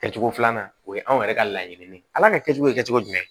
Kɛcogo filanan o ye anw yɛrɛ ka laɲini ye ala ka kɛcogo ye kɛcogo jumɛn